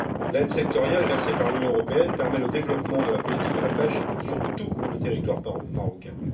L'aide sectorielle versée par l'Union européenne permet le développement de la politique de la pêche sur tout le territoire marocain.